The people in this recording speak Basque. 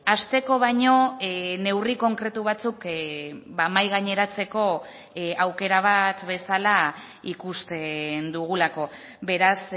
hasteko baino neurri konkretu batzuk mahai gaineratzeko aukera bat bezala ikusten dugulako beraz